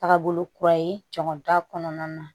Taga bolo kura ye jɔn ta kɔnɔna na